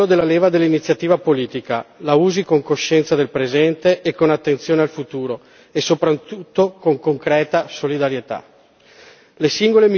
La Commissione ha il controllo della leva dell'iniziativa politica la usi con coscienza del presente e con attenzione al futuro e soprattutto con concreta solidarietà.